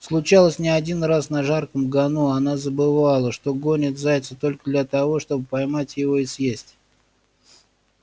случалось не один раз на жарком гону она забывала что гонит зайца только для того чтобы поймать его и съесть